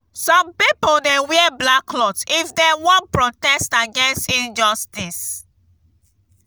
some pipo dey wear black cloth if dem wan protest against injustice.